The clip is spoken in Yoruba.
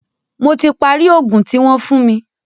Mó tí parí í oògùn tí wọ́n fún mí.